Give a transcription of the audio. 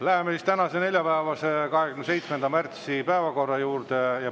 Läheme tänase, neljapäevase, 27. märtsi päevakorra juurde.